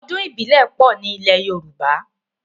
Ọdún ìbílẹ̀ pọ̀ ní ilẹ̀ Yorùbá.